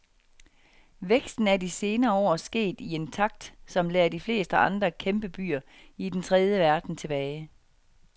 Væksten er de senere år sket i en takt, som lader de fleste andre kæmpebyer i den tredje verden tilbage.